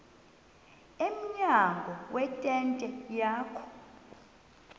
emnyango wentente yakhe